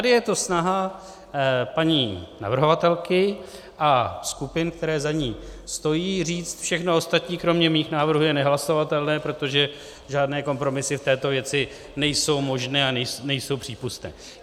Tady je to snaha paní navrhovatelky a skupin, které za ní stojí, říct, všechno ostatní kromě mých návrhů je nehlasovatelné, protože žádné kompromisy v této věci nejsou možné a nejsou přípustné.